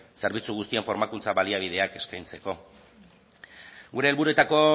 zerbitzu guztien formakuntza baliabideak eskaintzeko gure helburuetako